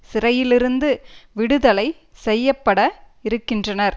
சிறையிலிருந்து விடுதலை செய்ய பட இருக்கின்றனர்